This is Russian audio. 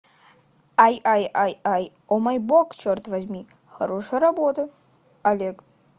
ай ай ай о мой бог чёрт возьми хорошая работа олег